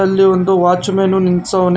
ಇಲ್ಲಿ ಒಂದು watchman ನಿಲ್ಸವ್ನೆ.